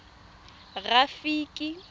rafiki